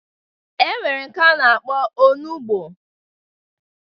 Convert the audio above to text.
E nwere nke a na-akpọ onugbo